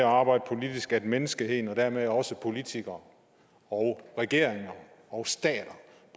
at arbejde politisk at menneskeheden og dermed også politikere og regeringer og stater